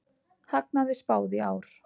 Hagnaði spáð í ár